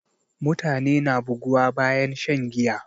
Mutane na buguwa bayan shan giya